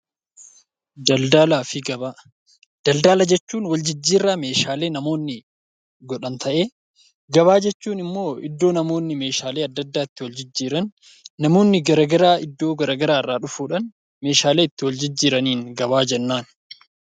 Daldalaa fi Gabaa Daldala jechuun waljijjiirraa meeshaalee namoonni godhan ta'ee, gabaa jechuun immoo iddoo namoonni meeshaalee adda addaa itti waljijjiiran, namoonni garagaraa iddoo garagaraa irraa dhufuudhaan meeshaalee itti waljijjiiraniin gabaa jennaan.